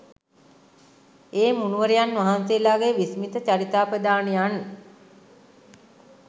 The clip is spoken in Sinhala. ඒ මුනිවරයන් වහන්සේලාගේ විස්මිත චරිතාපදානයන්